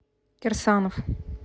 кирсанов